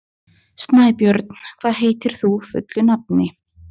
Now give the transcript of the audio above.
Snæbjörn, hvað heitir þú fullu nafni?